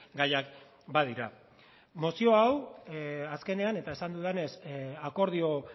gaiak badira mozio hau azkenean eta esan dudanez akordio